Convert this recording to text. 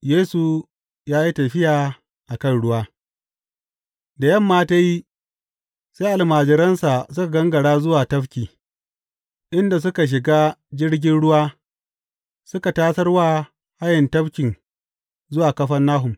Yesu ya yi tafiya a kan ruwa Da yamma ta yi, sai almajiransa suka gangara zuwa tafki, inda suka shiga jirgin ruwa suka tasar wa haye tafkin zuwa Kafarnahum.